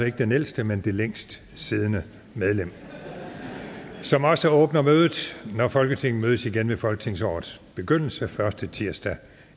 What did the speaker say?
ikke den ældste men det længst siddende medlem som også åbner mødet når folketinget mødes igen ved folketingsårets begyndelse den første tirsdag